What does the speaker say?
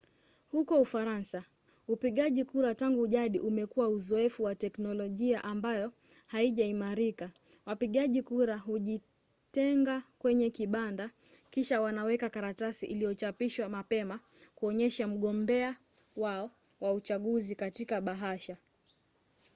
huko ufaransa upigaji kura tangu jadi umekuwa uzoefu wa teknolojia ambayo haijaimarika: wapigaji kura hujitenga kwenye kibanda kisha wanaweka karatasi iliyochapishwa mapema kuonyesha mgombea wao wa uchaguzi katika bahasha